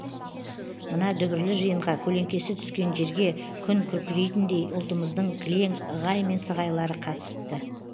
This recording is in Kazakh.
мына дүбірлі жиынға көлеңкесі түскен жерге күн күркірейтіндей ұлтымыздың кілең ығай мен сығайлары қатысыпты